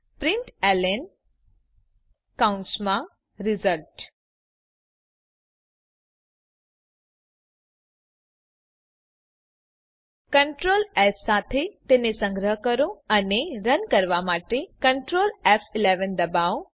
println કૌસમાં result control S સાથે તેને સંગ્રહ કરો અને રન કરવા માટે કન્ટ્રોલ ફ11 ડબાઓ